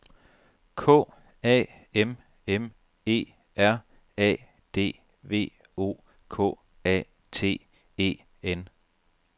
K A M M E R A D V O K A T E N